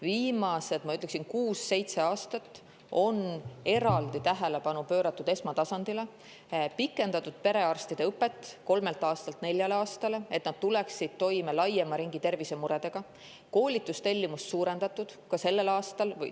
Viimased, ma ütleksin, kuus-seitse aastat on eraldi tähelepanu pööratud esmatasandile, on pikendatud perearstide õpet kolmelt aastalt neljale aastale, et nad tuleksid toime laiema ringi tervisemuredega, ja on suurendatud koolitustellimust, ka sellel aastal.